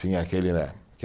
Tinha aquela né